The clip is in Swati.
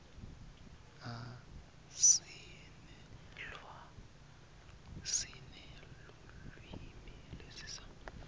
sinelulwimi lesiswati